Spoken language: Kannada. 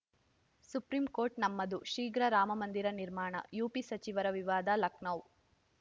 ಸುಪ್ರೀಂಕೋರ್ಟ್‌ ನಮ್ಮದು ಶೀಘ್ರ ರಾಮಮಂದಿರ ನಿರ್ಮಾಣ ಯುಪಿ ಸಚಿವರ ವಿವಾದ ಲಖನೌ